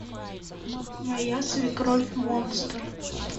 моя свекровь монстр